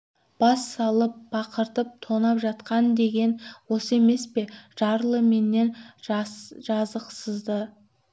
бас салып бақыртып тонап жатқан деген осы емес пе жарлы менен жазықсызды